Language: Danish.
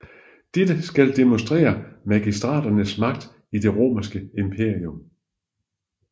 Dette skal demonstrere magistraternes magt i det Romerske Imperium